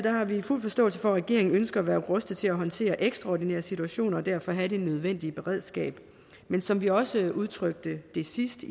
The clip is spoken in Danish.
har vi fuld forståelse for at regeringen ønsker at være rustet til at håndtere ekstraordinære situationer og derfor have det nødvendige beredskab men som vi også udtrykte sidst